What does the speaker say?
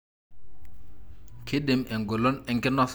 kindim engolon enkinosata endaa ayeu.